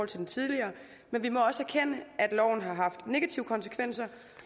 til den tidligere men vi må også erkende at loven har haft negative konsekvenser